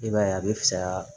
I b'a ye a bɛ fisaya